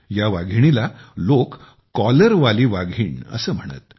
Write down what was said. या वाघिणीला लोक कॉलरवाली वाघीण असे म्हणत